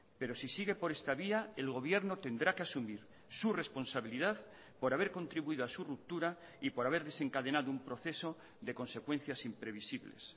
pero si sigue por esta vía el gobierno tendrá que asumir su responsabilidad por haber contribuido a su ruptura y por haber desencadenado un proceso de consecuencias imprevisibles